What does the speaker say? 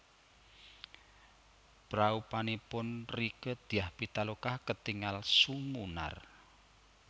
Praupanipun Rieke Diah Pitaloka ketingal sumunar